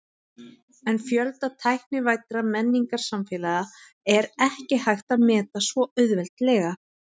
En fjölda tæknivæddra menningarsamfélaga er ekki hægt að meta svo auðveldlega.